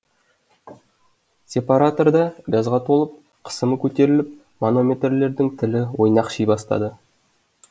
сепаратор да газға толып қысымы көтеріліп манометрлердің тілі ойнақши бастады